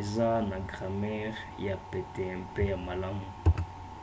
eza na gramere ya pete mpe ya malamu